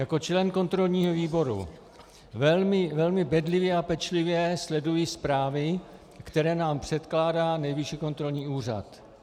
Jako člen kontrolního výboru velmi bedlivě a pečlivě sleduji zprávy, které nám předkládá Nejvyšší kontrolní úřad.